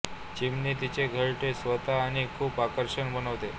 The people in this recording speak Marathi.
चिमणी तिचे घरटे स्वतः आणि खूप आकर्षक बनवते